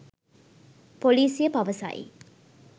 පොලිසිය පවසයි